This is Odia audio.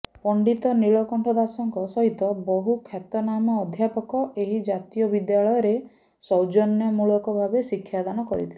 ପଣ୍ଡିତ ନୀଳକଣ୍ଠ ଦାସଙ୍କ ସହିତ ବହୁ ଖ୍ୟାତନାମା ଅଧ୍ୟାପକ ଏହି ଜାତୀୟ ବିଦ୍ୟାଳୟରେ ସୌଜନ୍ୟମୂଳକ ଭାବେ ଶିକ୍ଷାଦାନ କରିଥିଲେ